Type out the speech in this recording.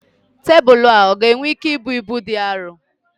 Tebụl ọ ga-enwe ike ibu ibu dị arọ?